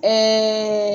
Ɛɛ